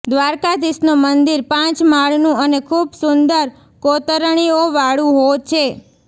દ્રારકાધિશનું મંદિર પાંચ માળનું અને ખૂબ સુંદર કોતરણીઓવાળુઓ છે